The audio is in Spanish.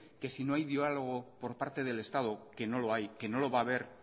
que si no hay diálogo por parte del estado que no lo hay y no lo va haber